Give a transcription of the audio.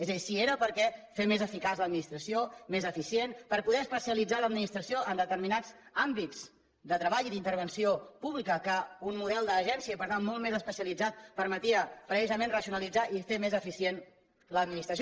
és a dir si era per fer més eficaç l’administració més eficient per poder especialitzar l’administració en determinats àmbits de treball i d’intervenció pública que un model d’agència per tant molt més especialitzat permetia precisament racionalitzar i fer més eficient l’administració